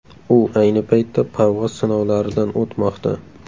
U ayni paytda parvoz sinovlaridan o‘tmoqda.